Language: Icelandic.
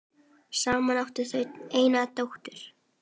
Saman áttu þau eina dóttur.